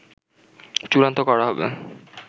চূড়ান্ত করা হবে